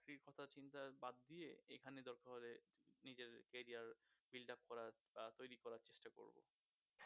Free কথার চিন্তা বাদ দিয়ে এখানে দরকার হলে নিজের career build up করার বা তৈরি করার চেষ্টা করব।